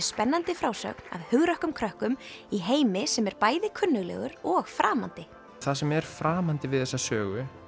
spennandi frásögn af hugrökkum krökkum í heimi sem er bæði kunnuglegur og framandi það sem er framandi við þessa sögu